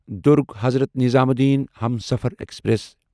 Durg Hazrat Nizamuddin Humsafar express